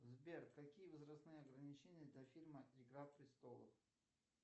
сбер какие возрастные ограничения для фильма игра престолов